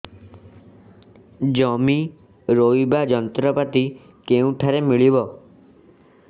ଜମି ରୋଇବା ଯନ୍ତ୍ରପାତି କେଉଁଠାରୁ ମିଳିବ